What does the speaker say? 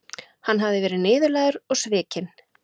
Hann hafði verið niðurlægður og svikinn.